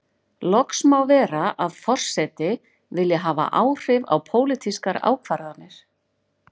Loks má vera að forseti vilji hafa áhrif á pólitískar ákvarðanir.